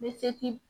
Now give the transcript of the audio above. Bɛ se k'i